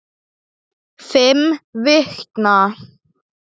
Þrepin voru hrein.